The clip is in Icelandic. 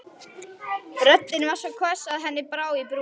Röddin var svo hvöss að henni brá í brún.